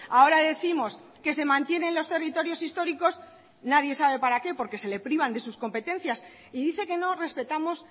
ahora décimos que se mantienen los territorios históricos nadie sabe para qué porque se le privan de sus competencias y dice que no respetamos